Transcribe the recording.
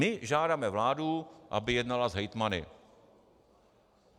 My žádáme vládu, aby jednala s hejtmany.